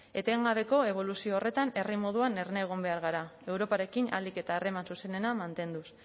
etengabeko eboluzio horretan herri moduan erne egon behar gara europarekin ahalik eta harreman zuzenena mantenduz